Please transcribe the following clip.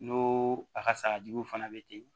N'o a ka sagajuguw fana bɛ ten